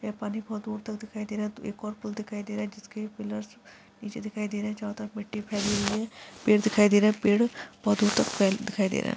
यह पानी बहुत दूर तक दिखाई दे रहा है एक और पुल दिखाई दे रहा है जिसके पिलर नीचे दिखाई दे रहे है जहां तक मिट्टी फैली है पेड़ दिखाई दे रहा है पेड़ बहुत दूर तक पेड़ दिखाई दे रहा है।